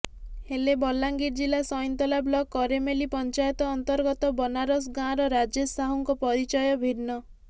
ହେଲେ ବଲାଙ୍ଗିର ଜିଲା ସଇଁନ୍ତଲା ବ୍ଲକ କେରମେଲି ପଞ୍ଚାୟତ ଅନ୍ତର୍ଗତ ବନାରସ ଗାଁର ରାଜେଶ ସାହୁଙ୍କ ପରିଚୟ ଭିନ୍ନ